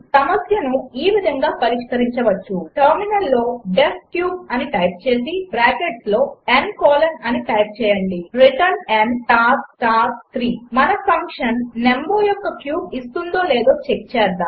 సమస్యను ఈ విధంగా పరిష్కరించవచ్చు టెర్మినల్లో డీఇఎఫ్ క్యూబ్ అని టైప్ చేసి బ్రాకెట్స్లో n కోలన్ అని టైప్ చేయండి రిటర్న్ n స్టార్ స్టార్ 3 మన ఫంక్షన్ నంబర్ యొక్క క్యూబ్ ఇస్తుందో లేదో చెక్ చేద్దాము